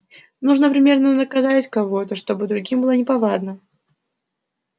нужно примерно наказать кого-то чтобы другим было неповадно